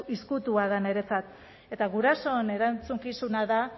ezkutua da niretzat eta gurasoen erantzukizuna da